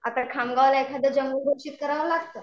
आता खामगावला एखादं जंगल घोषित करावं लागतं.